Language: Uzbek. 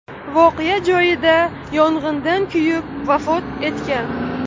voqea joyida yong‘indan kuyib vafot etgan.